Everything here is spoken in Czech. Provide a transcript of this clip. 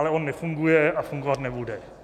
Ale on nefunguje a fungovat nebude.